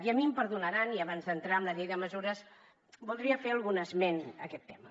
i a mi em perdonaran i abans d’entrar en la llei de mesures voldria fer algun esment a aquest tema